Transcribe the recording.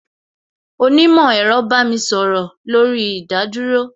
Onímò ẹ̀rọ bá mi sọ̀rọ̀ lórí ìdádúró